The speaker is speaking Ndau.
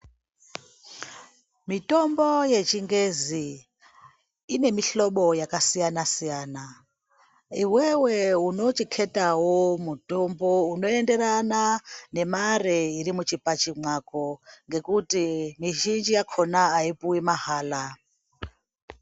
Mitombo yechingezi inemihlobo yakasiyana-siyana. Iwewe unochiketawo mutombo unoenderana nemare irimuchibhachi mwako. Ngekuti mizhinji yakona haipuwi mahala.